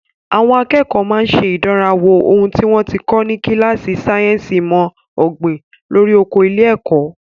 Àwọn akẹ́kọ̀ọ́ máa ń ṣe ìdánrawò ohun tí wọ́n ti kọ́ ní kíláàsì sáyẹ́ǹsì ìmọ̀ ọ̀gbìn lórí oko ilé-ẹ̀kọ́.